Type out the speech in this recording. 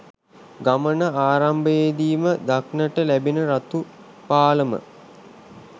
ගමන ආරම්භයේදීම දක්නට ලැබෙන රතුපාලම